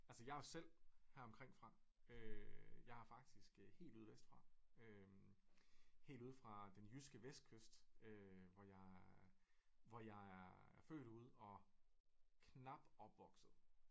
Altså jeg er jo selv heromkring fra øh jeg er faktisk helt ude vest fra øh helt ude fra den jyske vestkyst øh hvor jeg er født ude og knap opvokset